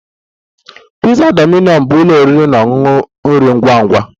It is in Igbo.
Pizza Domino bụ ụlọ oriri na ọṅụṅụ nri ngwa ngwa